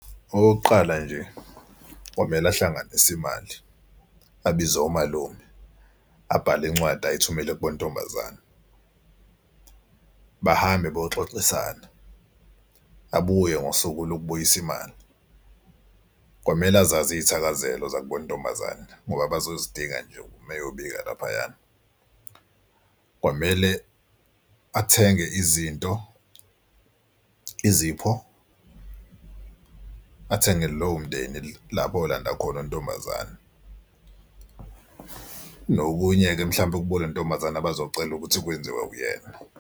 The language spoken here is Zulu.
Okokuqala nje kwamele ahlanganise imali, abize omalume, abhale incwadi ayithumele kubo ntombazane. Bahambe bayoxoxisana, abuye ngosuku lokubuyisa imali. Kwamele azazi izithakazelo zakubo intombazane ngoba bazozidinga nje meyobika laphayana. Kwamele athenge izinto izipho, athenge lowo mndeni lapho eyolanda khona intombazane. Nokunye-ke mhlawumbe kubo kule ntombazane bazocela ukuthi kwenziwe uyena.